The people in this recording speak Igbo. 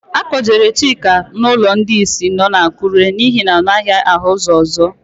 A kpọjere Chika n'ụlọ ndị ìsì nọ n'Akụre n'ihi na ọ naghị ahụ ụ́zọ̀.